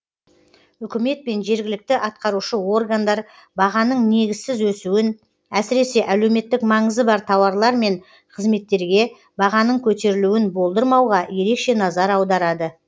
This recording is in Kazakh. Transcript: үкімет пен жергілікті атқарушы органдар бағаның негізсіз өсуін әсіресе әлеуметтік маңызы бар тауарлар мен қызметтерге бағаның көтерілуін болдырмауға ерекше назар аударады